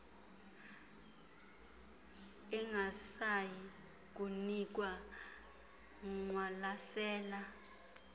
ingasayi kunikwa ngqwalaselane